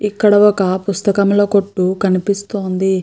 ఇక్కడ ఒక పుస్తకముల కొట్టు కనిపిస్తోంది.